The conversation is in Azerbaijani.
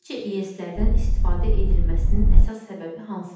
Sizcə, İES-lərdən istifadə edilməsinin əsas səbəbi hansıdır?